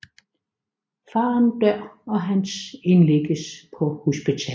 Faren dør og Hans indlægges på hospitalet